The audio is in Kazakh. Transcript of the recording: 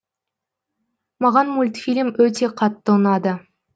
маған мультфильм өте қатты ұнады